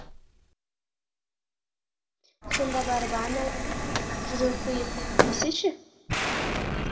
сонда барып ән айтып жыр оқиық десе ше